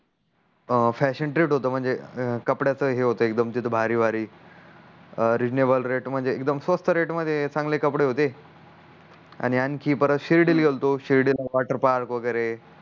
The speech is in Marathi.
अं फॅशन ट्रीट होत म्हणजे कंपड्याच ही होत म्हणजे भारी भारी रेजनेबल रेट म्हणजे एकडूम स्वस्त रेट मध्ये चांगले कपडे होते आणि आणखी परत शिर्डी ल गेलतो शिरडीला वॉटर पार्क वगेरे